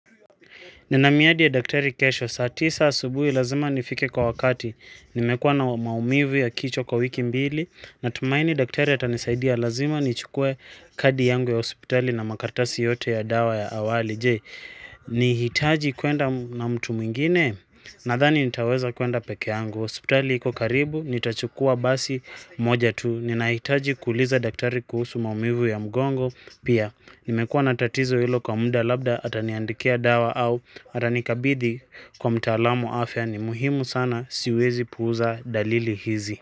Ninamiadi ya daktari kesho, saati saa subuhi lazima nifike kwa wakati, nimekuwa na maumivu ya kichwa kwa wiki mbili, na tumaini daktari atanisaidia lazima, nichukue kadi yangu ya hospitali na makaratasi yote ya dawa ya awali, jee, nihitaji kwenda na mtu mwingine, na dani nitaweza kwenda peke yangu, hospitali iko karibu, nitachukua basi moja tu, ninahitaji kuliza daktari kuhusu maumivu ya mgongo, pia, nimekuwa natatizo ilo kwa muda labda ataniandikia dawa au atanikabidhi kwa mtaalamu afya ni muhimu sana siwezi puuza dalili hizi.